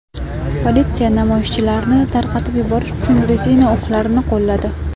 Politsiya namoyishchilarni tarqatib yuborish uchun rezina o‘qlarni qo‘lladi.